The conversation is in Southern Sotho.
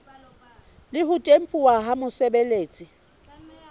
le ho tempuwa ke mosebeletsi